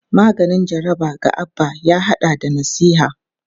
Maganin jaraba ga Abba ya hada da nasiha.